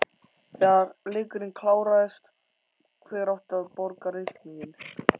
Þegar leikurinn kláraðist, hver átti að borga reikninginn?